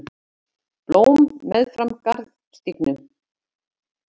Blóm meðfram garðstígum.